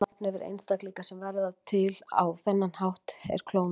Annað nafn yfir einstaklinga sem verða til á þennan hátt er klónar.